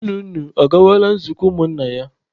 Nna unu ọ gawala nzukọ ụmụ nna ya?